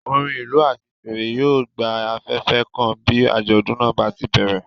Orin ìlú àti fèrè yóò gba afẹ́fẹ́ kan bí àjọ̀dún náà bá ṣe bẹ̀rẹ̀.